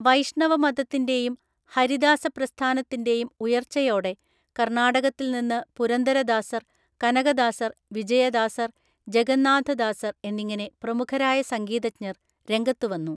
വൈഷ്ണവമതത്തിൻ്റെയും ഹരിദാസപ്രസ്ഥാനത്തിൻ്റെയും ഉയർച്ചയോടെ, കർണാടകത്തിൽനിന്ന് പുരന്ദരദാസർ, കനകദാസർ, വിജയദാസർ, ജഗന്നാഥദാസർ എന്നിങ്ങനെ പ്രമുഖരായ സംഗീതജ്ഞർ രംഗത്തുവന്നു.